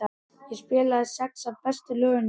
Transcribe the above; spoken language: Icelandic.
Ég spilaði sex af bestu lögunum mínum.